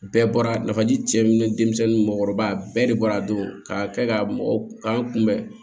Bɛɛ bɔra nafaji cɛ min ni denmisɛnnin ni mɔgɔkɔrɔba bɛɛ de bɔra don ka kɛ ka mɔgɔ k'an kunbɛn